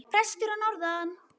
Prestur að norðan!